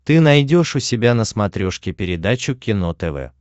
ты найдешь у себя на смотрешке передачу кино тв